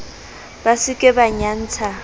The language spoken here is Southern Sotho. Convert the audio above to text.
ba se ke ba nyantsha